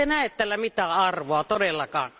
Ettekö te näe tällä mitään arvoa todellakaan?